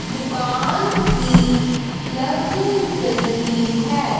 दुकान की लग रही हैं।